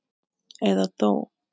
Eða dó.